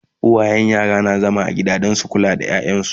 a da uwayen yara na zama a gida Dan su kula da yaransu